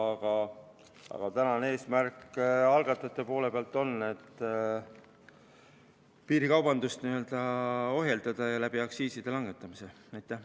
Aga algatajate eesmärk praegu on ohjeldada piirikaubandust aktsiiside langetamise abil.